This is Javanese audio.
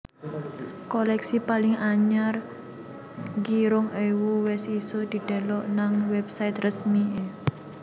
Koleksi paling anyar G rong ewu wes iso didelok nang website resmi e